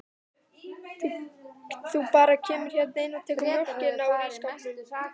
Þú bara kemur hérna inn og tekur mjólkina úr ísskápnum.